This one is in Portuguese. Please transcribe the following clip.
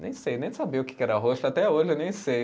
Nem sei, nem sabia o que que era arrocho, até hoje eu nem sei.